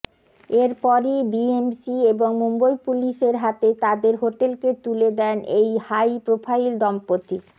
এরপরই বিএমসি এবং মুম্বই পুলিসের হাতে তাঁদের হোটেলকে তুলে দেন এই হাই প্রোফাইল দম্পতি